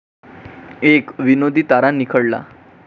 एक 'विनोदी' तारा निखळला